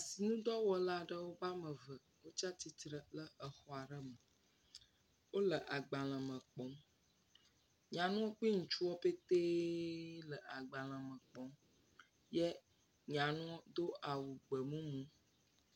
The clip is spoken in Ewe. Sinidɔwɔla aɖewo ƒe ame eve wotsa titre le exɔ aɖe me. Wole agbalẽ me kpɔm. Nyanu kpli ŋutsuɔ ƒete le agbalẽ me kpɔm. Ye nyanuɔ do awu gbemumu.